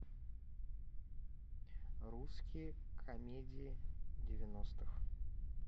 русские комедии девяностых